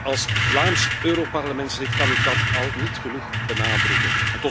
Als Vlaams Europarlementslid kan ik dat niet genoeg benadrukken.